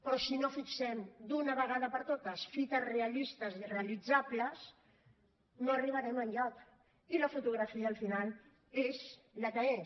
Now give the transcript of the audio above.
però si no fixem d’una vegada per totes fites realistes i realitzables no arribarem enlloc i la fotografia al final és la que és